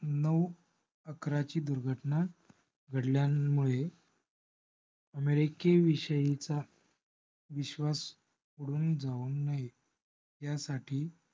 नऊ आकराची दुर्घटना घडल्यामुळे america विषयीचा विश्वास उडून जाऊ नये. ह्यासाठी